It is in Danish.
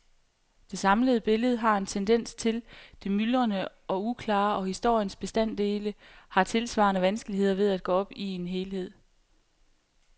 Det samlede billede har en tendens til det myldrende og uklare, og historiens bestanddele har tilsvarende vanskeligheder ved at gå op i en helhed.